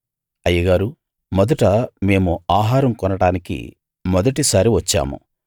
అయ్యగారూ మొదట మేము ఆహారం కొనడానికి మొదటిసారి వచ్చాము